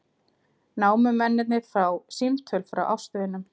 Námumennirnir fá símtöl frá ástvinum